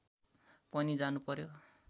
पनि जानु पर्‍यो